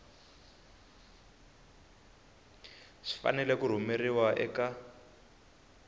swi fanele ku rhumeriwa eka